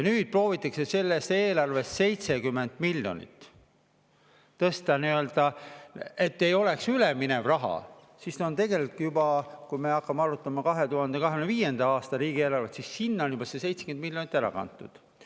Nüüd proovitakse selles eelarves 70 miljonit tõsta nii, et see ei oleks üleminev raha, ja kui me hakkame arutama 2025. aasta riigieelarvet, on tegelikult sinna juba see 70 miljonit ära kantud.